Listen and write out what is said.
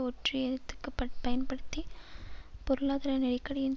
ஒற்றியத்துக்ப்பட் பயன்படுத்தி பொருளாதார நெருக்கடியின்